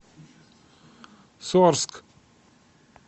сорск